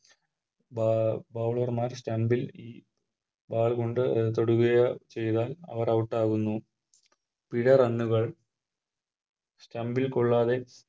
ബ Bowler മാർ Stump ൽ ഈ Ball കൊണ്ട് തൊടുകയോ ചെയ്താൽ അവർ Out ആകുന്നു പിഴ Runs Stump കൊള്ളാതെ